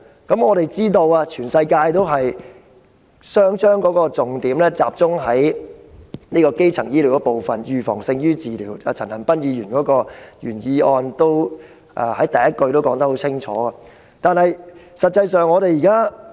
我們皆知道，世界各地皆把重點集中在基層醫療上，因為預防勝於治療，正如陳恒鑌議員的原議案第一句已清楚指出這點。